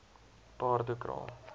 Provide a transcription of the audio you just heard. paardekraal